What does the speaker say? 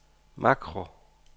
makro